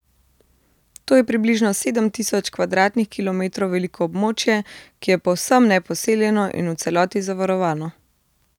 To je približno sedem tisoč kvadratnih kilometrov veliko območje, ki je povsem neposeljeno in v celoti zavarovano.